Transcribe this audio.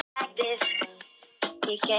Þarna var ég.